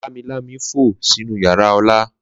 Lámilámi fo sinu yara Ola.